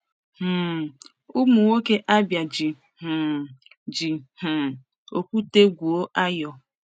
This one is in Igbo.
um Ụmụ nwoke Abia ji um ji um okwute gwuo ayo.